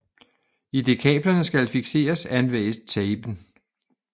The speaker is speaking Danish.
Idet kablerne skal fikseres anvendes tapen